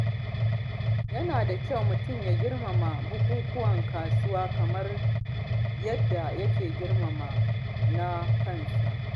Yana da kyau mutum ya girmama bukukuwan wasu kamar yadda yake girmama na kansa.